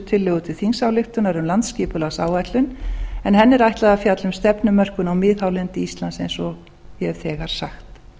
tillögur til þingsályktunar um landsskipulagsáætlun en henni er ætlað að fjalla um stefnumörkun á miðhálendi íslands eins og ég hef þegar sagt